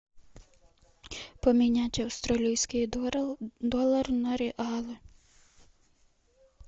поменять австралийские доллары на реалы